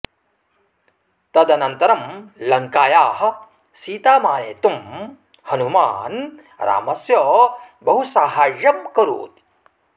तदनन्तरं लङ्कायाः सीतामानेतुं हनूमान् रामस्य बहु साहाय्यं करोति